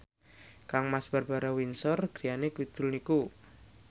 kangmas Barbara Windsor griyane kidul niku